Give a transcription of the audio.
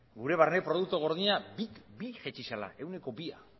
gure barne produktu gordina ehuneko bia jaitsi zela bi mila